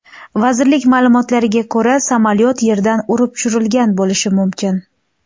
Vazirlik ma’lumotlariga ko‘ra, samolyot yerdan urib tushirilgan bo‘lishi mumkin.